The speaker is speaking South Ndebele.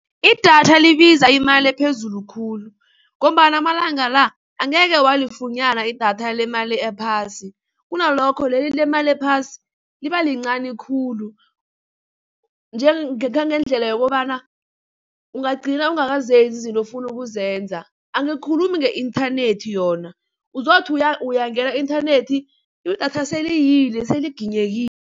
Idatha libiza imali ephezulu khulu ngombana amalanga la angeke walifunyana idatha lemali ephasi, kunalokho leli lemali ephasi libalincani khulu njengendlela yokobana ungagcina ungakazenzi izinto ofuna ukuzenza. Angikhulumi nge-inthanethi yona uzothi uyangena ku-inthanethi idatha seleyile seliginyekile.